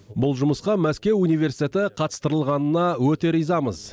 бұл жұмысқа мәскеу университеті қатыстырылғанына өте ризамыз